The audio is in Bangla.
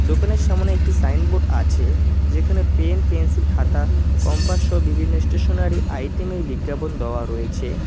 দোকানের সামোনে একটি সাইনবোর্ড আছে যেখানে পেন পেন্সিল খাতা কম্পাস সহ বিভিন্ন স্টেশনারি আইটেমের বিজ্ঞাপন দেওয়া রয়েছে।